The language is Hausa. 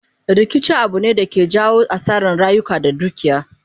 Rikici Abu ne da ke jawo asaran rayuka da dukiya